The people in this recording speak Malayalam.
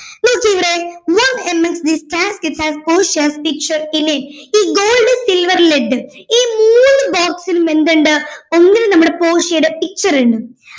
നോക്കിവിടെ one among this cascade have portia's picture in it ഈ gold silver led ഈ മൂന്നു box ഇലും എന്തുണ്ട് ഒന്നിൽ നമ്മുടെ പോർഷ്യയുടെ picture ഉണ്ട്